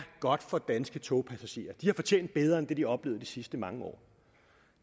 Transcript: godt for danske togpassagerer de har fortjent bedre end det de har oplevet de sidste mange år